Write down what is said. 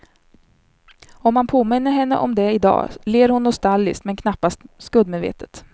Om man påminner henne om det i dag ler hon nostalgiskt men knappast skuldmedvetet.